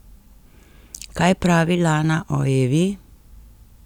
Kaj pravi Lana o Evi?